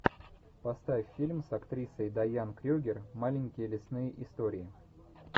поставь фильм с актрисой дайан крюгер маленькие лесные истории